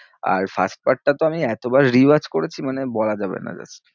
আর first part টা তো আমি এতবার re-watch করেছি মানে বলা যাবে না just